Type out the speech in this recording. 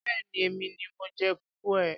Béèni èmi ni mo jẹ fùfú ẹ.